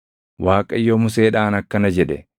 Waaqayyo Museedhaan akkana jedhe;